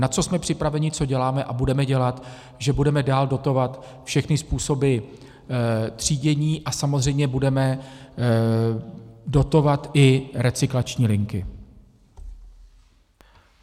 Na co jsme připraveni, co děláme a budeme dělat, že budeme dál dotovat všechny způsoby třídění a samozřejmě budeme dotovat i recyklační linky.